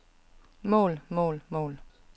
mål mål mål